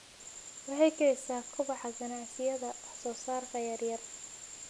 Waxay kicisaa kobaca ganacsiyada wax soo saarka yar yar.